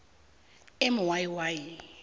m y y